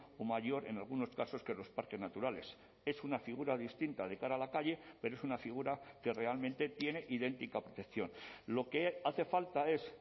o mayor en algunos casos que los parques naturales es una figura distinta de cara a la calle pero es una figura que realmente tiene idéntica protección lo que hace falta es